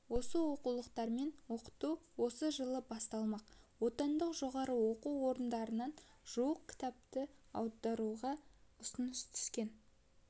осы оқулықтармен оқыту оқу жылы басталмақ отандық жоғары оқу орындарынан жуық кітапты аударуға ұсыныс түскен